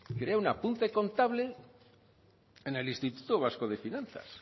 crea un apunte contable en el instituto vasco de finanzas